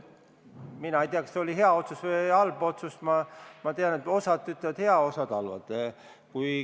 Mina ei tea, kas see oli hea otsus või halb otsus – ma tean, et osa ütleb, et hea, osa ütleb, et halb.